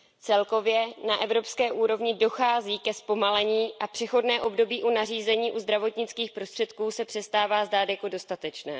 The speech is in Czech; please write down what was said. Celkově na evropské úrovni dochází ke zpomalení a přechodné období u nařízení o zdravotnických prostředcích se přestává zdát jako dostatečné.